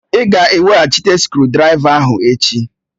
Ị ga-eweghachite skrụdiraiva ahụ echi!